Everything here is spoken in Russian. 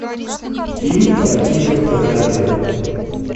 фильм про тигров на корабле